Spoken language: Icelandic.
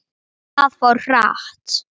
Það fór hratt.